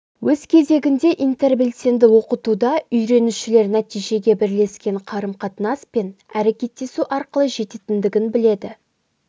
өз кезегінде интербелсенді оқытуда үйренушілер нәтижеге бірлескен қарым-қатынас пен әрекеттесу арқылы жететіндігін біледі